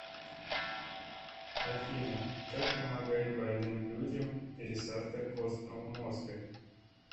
афина как помогает больным людям пересадка костного мозга